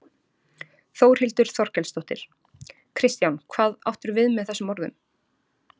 Þórhildur Þorkelsdóttir: Kristján hvað áttirðu við með þessum orðum?